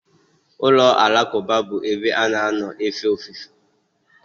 Ụlọ alakụba bụ ebe a na-anọ efe ofufe.